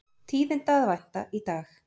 Tíðinda að vænta í dag